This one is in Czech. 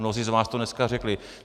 Mnozí z vás to dneska řekli.